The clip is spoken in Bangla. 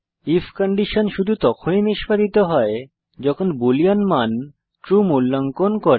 আইএফ কন্ডিশন শুধু তখনই নিস্পাদিত হয় যখন বুলিন মান ট্রু মূল্যাঙ্কন করে